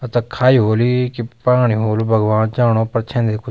अ त खायि होली कि पाणी होलु भगवान जाणो पर छेंदी कुछ।